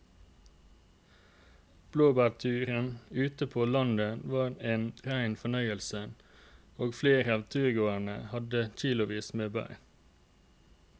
Blåbærturen ute på landet var en rein fornøyelse og flere av turgåerene hadde kilosvis med bær.